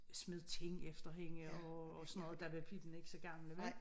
Smed ting efter hende og og sådan noget der var piblana ikke så gamle vel